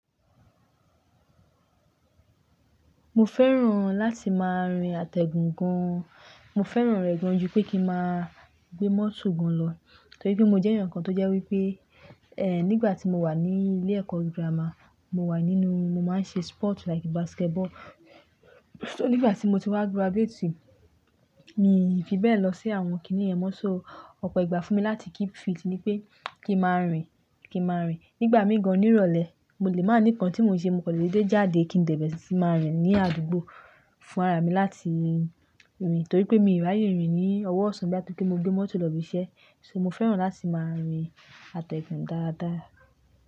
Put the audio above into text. Mo fẹ́ràn láti máa rìn àtẹ̀gùn gan. Mo fẹ́ràn rẹ̀ gan ju pé kí máa gbé mọ́tò gan lọ. Torí pé mo jẹ́ ẹnìkan tó jẹ́ wípé, nígbà tí mo wà ní ilé ẹ̀kọ́ gírámà, mo wà nínú, mo máa ń ṣe sport like basketball. So nígbà tí mo ti wá graduate, mi ò fi bẹ́ẹ̀ lọ sí àwọn kíní ẹ̀ mọ́. So ọ̀pọ̀ ìgbà fún mi láti keep fit ni pé kí máa rìn, kí máa rìn. Nígbà mí gan ní ìrọ̀lẹ́, mo lè má ní ǹkan tí mo ń ṣe, mo kò lè dé jáde kí n dẹ̀bẹ̀ sí ti máa rìn ní àdúgbò fún ara mi láti rìn. Torí pé mí ò ráyè rìn ní ọwọ́ ọ̀sán bíòyà to pé mo gbé mọ́tò lọ ibi iṣẹ́. So mo fẹ́ràn láti máa rìn àtẹ̀gùn dáadáa.